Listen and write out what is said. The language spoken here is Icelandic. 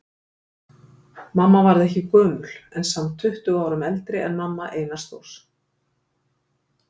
Mamma varð ekki gömul en samt tuttugu árum eldri en mamma Einars Þórs.